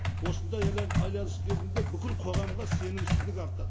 осындай айналыс кезінде бүкіл қоғамға сенімсіздік артады